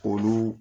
Olu